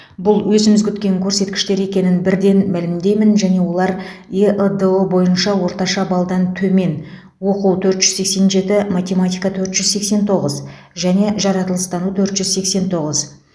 бұл өзіміз күткен көрсеткіштер екенін бірден мәлімдеймін және олар эыдұ бойынша орташа балдан төмен оқу төрт жүз сексен сегіз математика төрт жүз сексен тоғыз және жаратылыстану төрт жүз сексен тоғыз